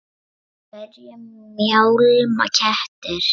Af hverju mjálma kettir?